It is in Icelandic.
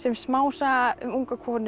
smásaga um unga konu